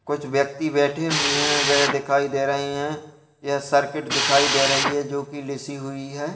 कुछ व्यक्ति बैठे हुए हैं वह दिखाई दे रहे हैं। यह सर्किट दिखाई दे रही है जोकि लिसी हुई है।